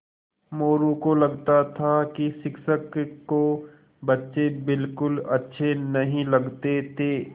मोरू को लगता था कि शिक्षक को बच्चे बिलकुल अच्छे नहीं लगते थे